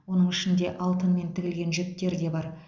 оның ішінде алтынмен тігілген жіптер де бар